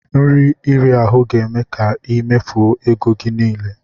Nri iri ahu ga-eme ka i mefuo ego gi niile.